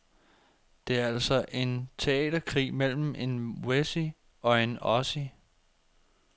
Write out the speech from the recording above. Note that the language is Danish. Det er altså en teaterkrig mellem en wessie og en ossie.